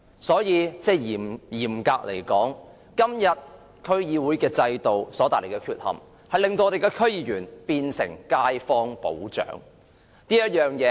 所以，嚴格而言，現時區議會制度的缺陷令區議員變成街坊保長。